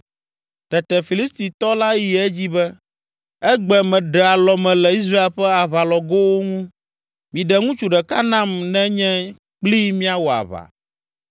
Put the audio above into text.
Tete Filistitɔ la yi edzi be, “Egbe meɖe alɔme le Israel ƒe aʋalɔgoawo ŋu! Miɖe ŋutsu ɖeka nam ne nye kplii míawɔ aʋa.”